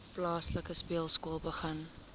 plaaslike speelskool begin